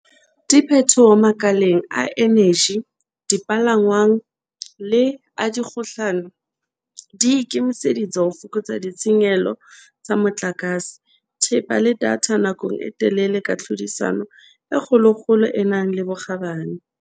Diphethoho makaleng a eneji, dipalangwang le a dikgokahano di ikemiseditse ho fokotsa ditshenyehelo tsa motlakase, thepa le datha nakong e telele ka tlhodisano e kgolokgolo e nang le bokgabane.